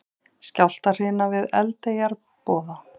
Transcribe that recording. Skjálftahrina við Eldeyjarboða